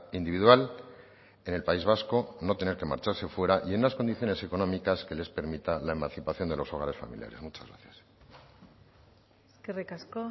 individual en el país vasco no tener que marcharse fuera y en unas condiciones económicas que les permita la emancipación de los hogares familiares muchas gracias eskerrik asko